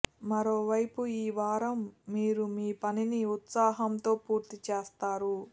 మరోవైపు ఈ వారం మీరు మీ పనిని ఉత్సాహంతో పూర్తి చేస్తారు